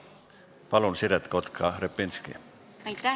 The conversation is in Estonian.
Palun, Siret Kotka-Repinski!